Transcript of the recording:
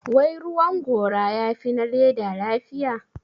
Wai ruwan gora ya fi na leather lafiya?